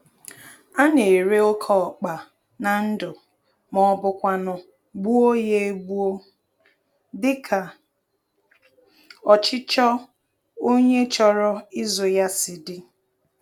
Ana-ere oke ọkpa na ndụ, mọbụkwanụ̀ gbuo ya egbuo, dịka ọchịchọ onye chọrọ ịzụ ya si d